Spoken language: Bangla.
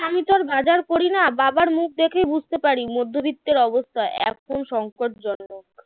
আমি তো আর বাজার করি না বাবার মুখ দেখেই বুঝতে পারি মধ্যবিত্তের অবস্থা এখন সঙ্কটজনক